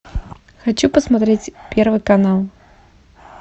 хочу посмотреть первый канал